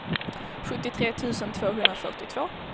sjuttiotre tusen tvåhundrafyrtiotvå